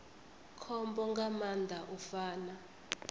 khombo nga maanḓa u fana